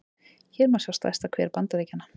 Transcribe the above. hér má sjá stærsta hver bandaríkjanna